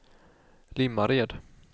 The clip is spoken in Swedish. Limmared